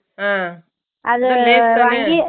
அஹ